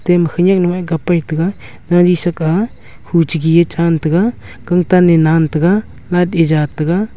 ema khanyak nu e kap e tega gaari shak a huche gi a chan tega kan than e nan tega light e ja taiga.